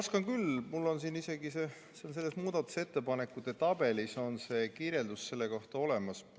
Oskan küll, mul on isegi muudatusettepanekute tabelis selle kohta kirjeldus olemas.